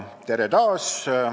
Tere taas!